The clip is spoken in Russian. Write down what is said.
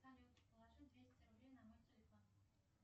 салют положи двести рублей на мой телефон